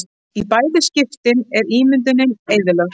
Í bæði skiptin er ímyndunin eyðilögð.